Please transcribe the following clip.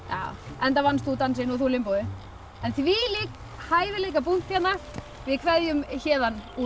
enda vannst þú dansinn og þú limbóið en þvílík hæfileikabunkt hérna við kveðjum héðan úr